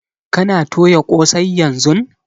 Kana toya ƙosai yanzun?